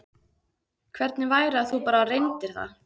Hvernig væri að þú bara reyndir það?